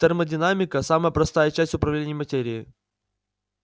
термодинамика самая простая часть управления материей